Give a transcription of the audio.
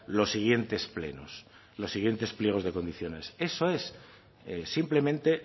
los siguientes pliegos de condiciones eso es simplemente